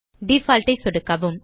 default ஐ சொடுக்கவும்